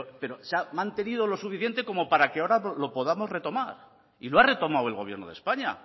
pero se ha mantenido lo suficiente para que ahora lo podamos retomar y lo ha retomado el gobierno de españa